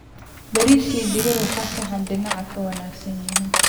Bariis iyo digir waa saxan dhinaca wanaagsan ah.